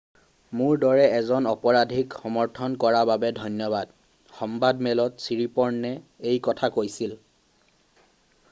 """মোৰ দৰে এজন অপৰাধীক সমৰ্থন কৰাৰ বাবে ধন্যবাদ," সংবাদমেলত ছিৰিপ'ৰ্ণে এই কথা কৈছিল।""